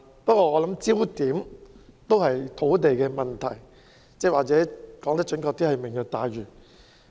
不過，我認為焦點始終是土地問題，或者說得更準確，就是"明日大嶼"。